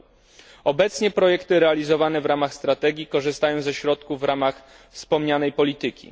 r. Obecnie projekty realizowane w ramach strategii korzystają ze środków w ramach wspomnianej polityki.